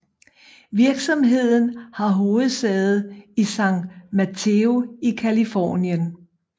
Virksomheden har hovedsæde i San Mateo i Californien